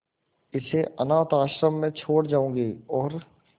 इसे अनाथ आश्रम में छोड़ जाऊंगी और